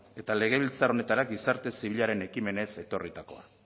eta legebiltzar honetara gizarte zibilaren ekimenez etorritakoa